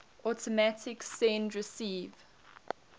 automatic send receive